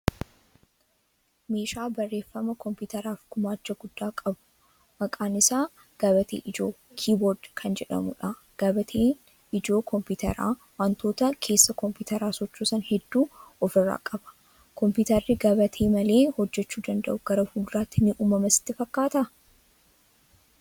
Meeshaa barreeffama kompiitaraaf gumaacha guddaa qabu, maqaan isaa gabatee ijoo(keyboard) kan jedhamudha. Gabateen ijoo kompiitaraa, wantoota keessa kompiitaraa sochoosan hedduu ofirraa qaba. Kompiitarri gabatee malee hojjechuu danda'u gara fuula duraatti ni uumama sitti fakkaataa?